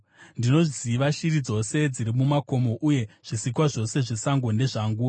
Ndinoziva shiri dzose dziri mumakomo, uye zvisikwa zvose zvesango ndezvangu.